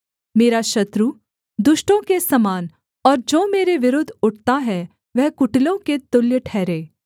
मेरा शत्रु दुष्टों के समान और जो मेरे विरुद्ध उठता है वह कुटिलों के तुल्य ठहरे